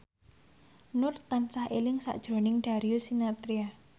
Nur tansah eling sakjroning Darius Sinathrya